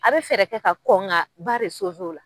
A bɛ fɛɛrɛ kɛ ka kɔn ka ba re o la.